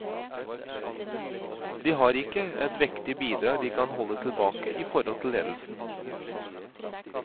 De har ikke et vektig bidrag de kan holde tilbake i forhold til ledelsen.